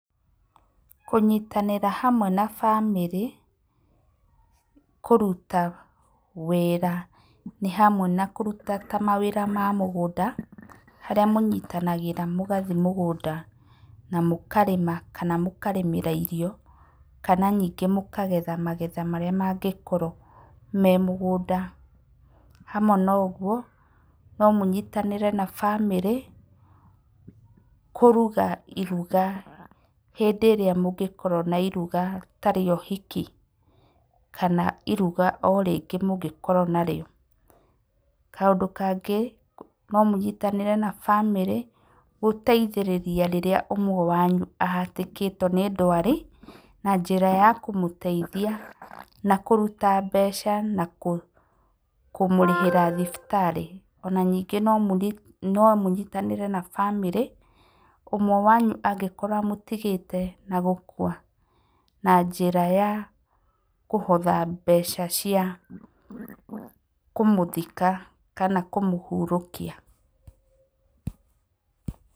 Kũnyitanĩra hamwe na bamĩrĩ, kũruta wĩra nĩ hamwe na kũruta ta mawĩra mamũgũnda, harĩa mũnyitanagĩra mũgathi mũgũnda, na mũkarĩma kana mũkarĩmĩra irio, kana ningĩ mũkagetha magetha marĩa mangĩkorwo memũgũnda. Hamwe noguo, no mũnyitanĩre na bamĩrĩ, kũruga iruga hĩndĩ ĩrĩa mũngĩkorwo na iruga tarĩohiki, kana iruga o orĩngĩ mũngĩkorwo narĩo. Kaũndũ kangĩ nomũnyitanĩre na bamirĩ gũteithĩrĩria rĩrĩa ũmwe wanyu ahatĩkĩtwo nĩ ndwari, na njĩra ya kũmũteithia na kũruta mbeca, na kũmũrĩhĩra thibitarĩ. Onaningĩ nomũnyitanĩre na bamĩrĩ, ũmwe wanyu angĩkorwo amũtigĩte na gũkua na njĩra ya kũhotha mbeca cia kũmũthika kana kũmũhurũkia.